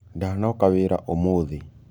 Ndanoka wĩra ũmũthĩ.